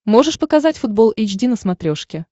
можешь показать футбол эйч ди на смотрешке